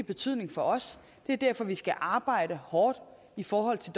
betydning for os det er derfor vi skal arbejde hårdt i forhold til